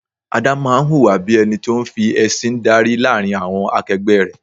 Adé máa ń hùwà bí ẹni tó ń fi ẹsin dárí láàrin àwọn akegbe rẹ.